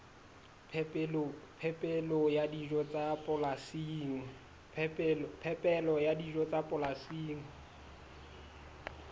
phepelo ya dijo tsa polasing